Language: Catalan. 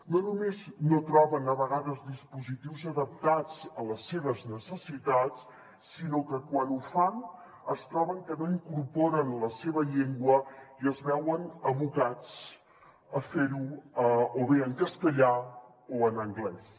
no només no troben a vegades dispositius adaptats a les seves necessitats sinó que quan ho fan es troben que no incorporen la seva llengua i es veuen abocats a fer ho o bé en castellà o en anglès